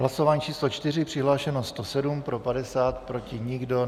Hlasování číslo 4, přihlášeno 107, pro 50, proti nikdo.